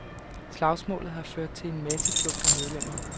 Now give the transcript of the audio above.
Slagsmålet har ført til en masseflugt af medlemmer.